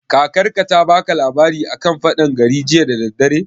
Kakar ka ta baka labari a kan faɗan gari jiya da daddare?